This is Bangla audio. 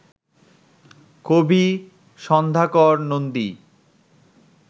কবি সন্ধ্যাকর নন্দী